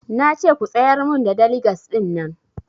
Nace ku tsayar mun da daligas ɗin nan